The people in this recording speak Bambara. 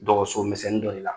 Dɔgɔsomisɛnnin dɔ de la.